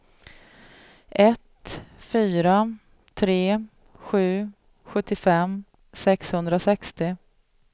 ett fyra tre sju sjuttiofem sexhundrasextio